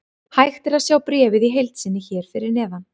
Hægt er að sjá bréfið í heild sinni hér fyrir neðan.